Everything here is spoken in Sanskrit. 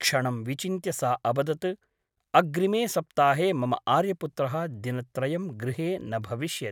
क्षणं विचिन्त्य सा अवदत् अग्रिमे सप्ताहे मम आर्यपुत्रः दिनत्रयं गृहे न भविष्यति ।